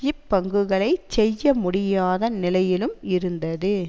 இப்பங்குகளைச் செய்ய முடியாத நிலையிலும் இருந்தது